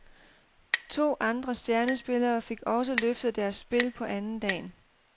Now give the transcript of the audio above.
To andre stjernespillere fik også løftet deres spil på andendagen.